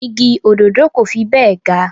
Igi òdòdó kò fi bẹ́ẹ̀ ga